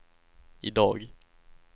idag